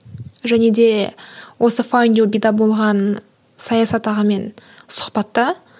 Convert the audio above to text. және де осы файндюбиде болған саясат ағамен сұхбатта